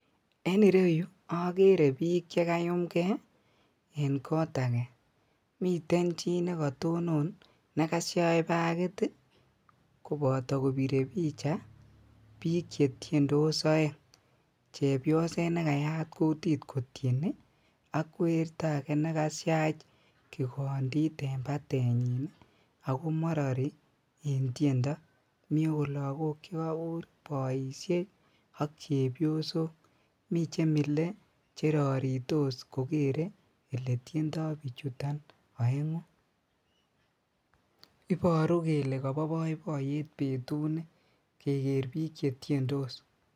En ireyuu okeree biik chekayumng'ee en koot akee, miten chii nekatonon nekashach bakiit ii koboto kobiree picha biik chetiendos oeng, chebioset nekayat kutit kotieni ak werto akee nekashach kikondit en batenyin akomorori en tiendo, mii okot lokok chekobur boishek ak chebiosok, mii chemile cheroritos kokeree eletiendo bichuton oenguu, iboruu kelee koboo boiboiyet betuni kekeer biik chetiendos.